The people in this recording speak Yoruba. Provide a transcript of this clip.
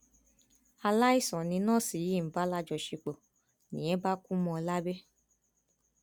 aláìsàn ni nọọsì yìí ń bá lájọṣepọ nìyẹn bá kú mọ ọn lábẹ